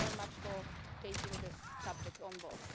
Thank you very much for taking this subject on board.